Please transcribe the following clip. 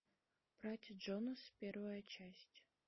братья джонас первая часть